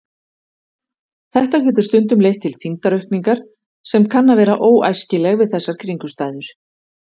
Þetta getur stundum leitt til þyngdaraukningar sem kann að vera óæskileg við þessar kringumstæður.